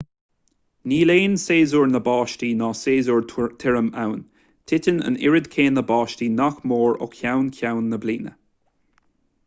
níl aon séasúr na báistí ná séasúr tirim ann titeann an oiread céanna báistí nach mór ó cheann ceann na bliana